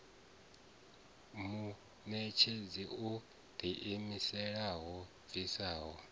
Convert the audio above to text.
muṋetshedzi o ḓiimisaho yo bviswaho